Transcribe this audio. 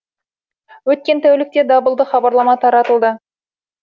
өткен тәулікте дабылды хабарлама таратылды